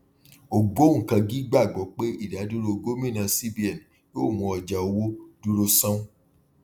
ògbóǹkangí gbàgbọ pé ìdádúró gómìnà cbn yóò mú ọjà owó dúró sánún